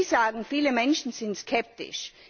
Sie sagen, viele Menschen sind skeptisch.